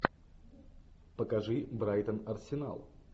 покажи брайтон арсенал